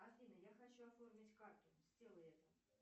афина я хочу оформить карту сделай это